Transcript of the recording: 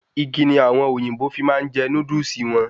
Igi ni àwọn òyìnbó fi máa n je Núdúsì won